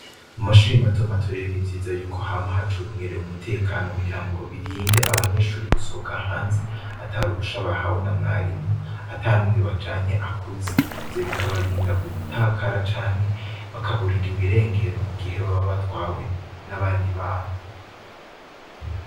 Mu mashuri matomato rero n'ivyiza y'uko hama hacungerewe umutekano kugira ngo birinde abanyeshuri gusohoka hanze, ataruhusha bahawe na Mwarimu, atanumwe bajanye akuze ,ivyo bikabarinda gutakara canke bakaburwa irengero, mu gihe baba batwawe n'abandi bantu.